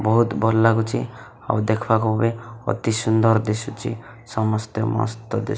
ବହୁତ ଭଲ ଲାଗୁଛି ଆଉ ଦେକଖବାକୁ ବି ଅତି ସୁନ୍ଦର୍ ଦିସୁଛି ସମସ୍ତେ ମୋ ସହିତ --